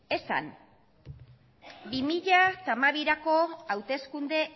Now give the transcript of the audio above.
bi mila hamabirako hauteskunde